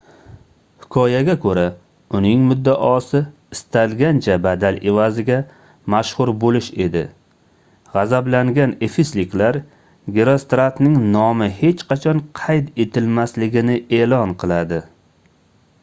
hikoyaga koʻra uning muddaosi istalgancha badal evaziga mashhur boʻlish edi gʻazablangan efesliklar gerostratning nomi hech qachon qayd etilmasligini eʼlon qiladi